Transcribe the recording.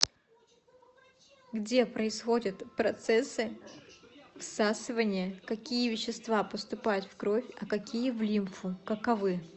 где происходят процессы всасывания какие вещества поступают в кровь а какие в лимфу каковы